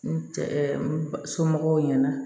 N cɛ somɔgɔw ɲɛna